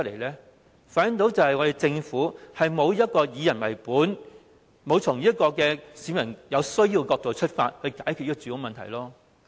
這反映出我們的政府並沒有以人為本，沒有從市民所需的角度解決住屋問題。